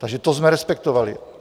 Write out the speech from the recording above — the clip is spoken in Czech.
Takže to jsme respektovali.